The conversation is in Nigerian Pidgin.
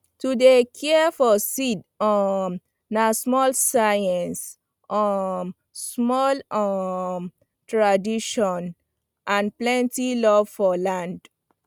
to dey care for seed um na small science um small um tradition and plenty love for land